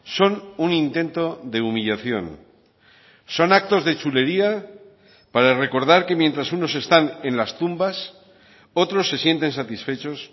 son un intento de humillación son actos de chulería para recordar que mientras unos están en las tumbas otros se sienten satisfechos